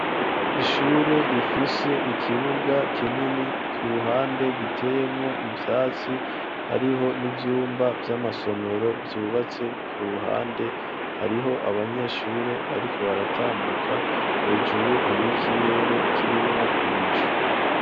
Ishure rifise ikibuga kinini ,ku ruhande giteyemwo ivyatsi hariho n’ivyumba vy'amasomero vyubatse ku ruhande ,hariho abanyeshure bariko baratambuka, hejuru hariho ikirere kirimwo ibicu.